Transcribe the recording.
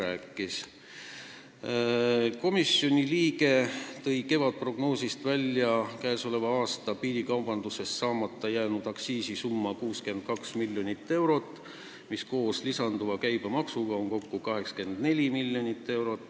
Üks komisjoni liige tõi kevadprognoosist välja aktsiisisumma, mis jäi käesoleval aastal piirikaubanduse tõttu saamata: 62 miljonit eurot, mis koos lisanduva käibemaksuga teeb kokku 84 miljonit eurot.